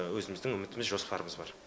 өзіміздің үмітіміз жоспарымыз бар